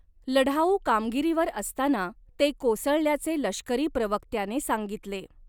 लढाऊ कामगिरीवर असताना ते कोसळल्याचे लष्करी प्रवक्त्याने सांगितले.